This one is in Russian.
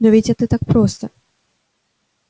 но ведь это так просто